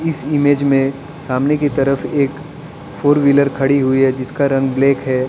इस इमेज में सामने की तरफ एक फोर व्हीलर खड़ी हुई है जिसका रंग ब्लैक है।